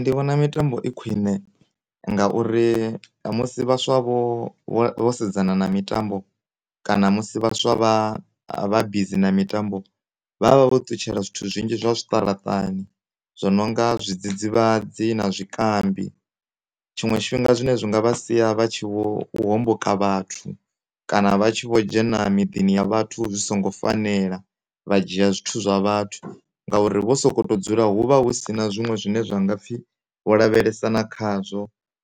Ndi vhona mitambo i khwine ngauri musi vhaswa vho sedzana na mitambo kana musi vhaswa vha busy na mitambo vha vha ṱutshela zwithu zwinzhi zwa zwiṱaraṱani zwo no nga zwidzidzivhadzi na zwikambi, tshiṅwe tshifhinga zwine zwi nga vha sia vha tshi vho homboka vhathu kana vha tshi vho dzhena miḓini ya vhathu zwi songo fanela vha dzhia zwithu zwa vhathu, ngauri wo soko dzula hu vha hu si na zwiṅwe zwine ha nga pfhi wo lavhelesana khazwo